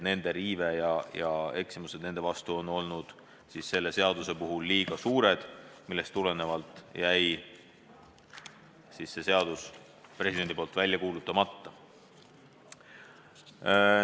Nende riive, eksimused nende vastu on selle seaduse puhul liiga suured ja sellest tulenevalt jäi see seadus presidendil välja kuulutamata.